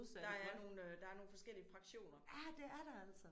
Der er nogle der er nogle forskellige fraktioner